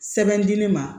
Sɛbɛn di ne ma